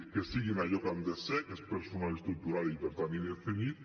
que siguin allò que han de ser que és personal estructural i per tant indefinit